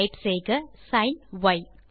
type செய்க sign ய்